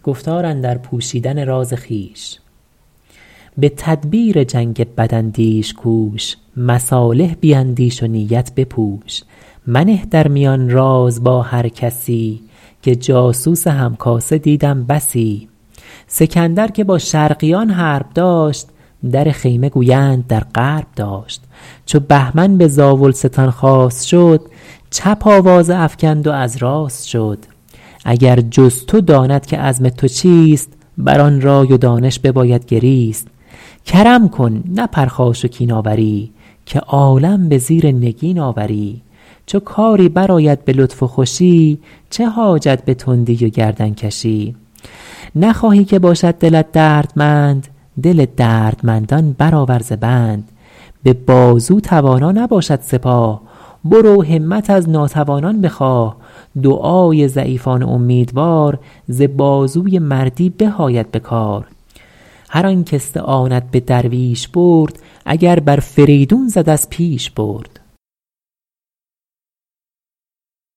به تدبیر جنگ بد اندیش کوش مصالح بیندیش و نیت بپوش منه در میان راز با هر کسی که جاسوس هم کاسه دیدم بسی سکندر که با شرقیان حرب داشت در خیمه گویند در غرب داشت چو بهمن به زاولستان خواست شد چپ آوازه افکند و از راست شد اگر جز تو داند که عزم تو چیست بر آن رای و دانش بباید گریست کرم کن نه پرخاش و کین آوری که عالم به زیر نگین آوری چو کاری بر آید به لطف و خوشی چه حاجت به تندی و گردن کشی نخواهی که باشد دلت دردمند دل دردمندان بر آور ز بند به بازو توانا نباشد سپاه برو همت از ناتوانان بخواه دعای ضعیفان امیدوار ز بازوی مردی به آید به کار هر آن کاستعانت به درویش برد اگر بر فریدون زد از پیش برد